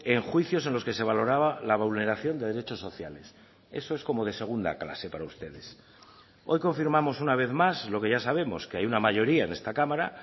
en juicios en los que se valoraba la vulneración de derechos sociales eso es como de segunda clase para ustedes hoy confirmamos una vez más lo que ya sabemos que hay una mayoría en esta cámara